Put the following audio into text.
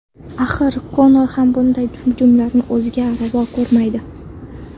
Axir, Konor ham bunday hujumlarni o‘ziga ravo ko‘rmaydi.